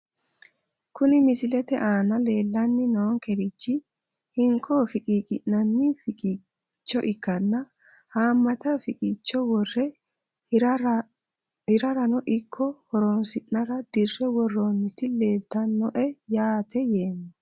Kuni misilete aana leelani noonkerichi hinkko fiqiiqinani fiqiiicho ikana haamata fiqiiich wore hirarano ikko horonsinara dirre worooniti leeltanoe yaate yeemo.